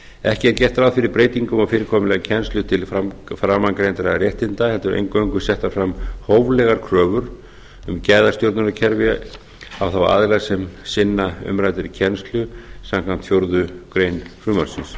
ekki er gert ráð fyrir breytingu á fyrirkomulagi á kennslu til framangreindra réttinda heldur eingöngu settar fram hóflegar kröfur um gæðastjórnunarkerfi á þá aðila sem sinna umræddri kennslu samkvæmt fjórðu grein frumvarpsins